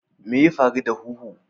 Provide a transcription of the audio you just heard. Me ya faru da huhu?